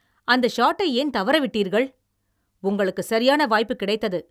அந்த ஷாட்டை ஏன் தவறவிட்டீர்கள்? உங்களுக்கு சரியான வாய்ப்பு கிடைத்தது.